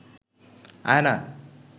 আয়না